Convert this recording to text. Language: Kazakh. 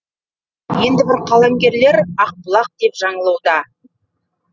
енді бір қаламгерлер ақбұлақ деп жаңылуда